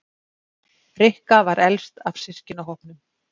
Rikka var elst af systkinahópnum.